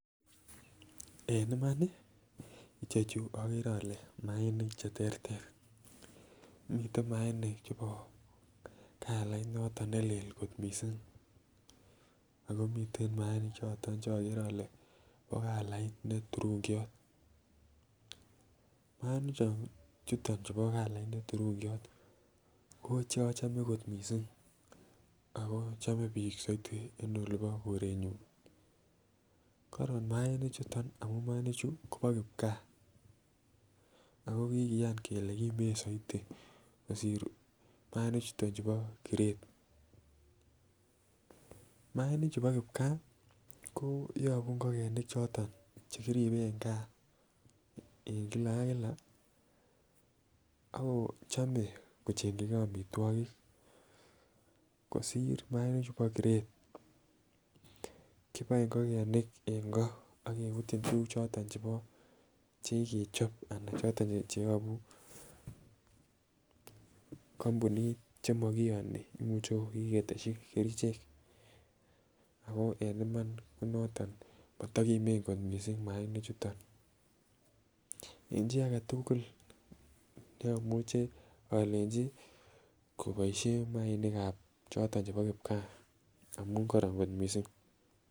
En imani chechu okere ole mainik cheterter miten mainik chebo kalait noton nelel kot missing ako miten mainik choto cheokere ole bo kalait neturungiot mainik chon chuton chubo kalait be turungiok ko che ochome kot missing ako chobe bik soiti en olii bo korenyun korom mainik chuton amun mainik chuu kobo kipkaa ako kikiyan kele kimen soiti kosir mainik chuton chubo kiret. Mainik chu bo kipkaa ko yobu ingokenik choton chekiribe en gaa en kila ak kila ak kochome kochenkigee omitwokik kosir mainik chu bo kiret kiboe ingokenik en koo ak kebutyin tukuk choton chebo chekikechob anan choton cheyobu kompunit chemokiyoni imuche ko kiketeshi kerichek ako en Iman ko noton moto kimen kot missing mainik chuton en chii agetukul neomuche olenchi koboishen mainik ab choton chebo kipkaa amun koron kot missing.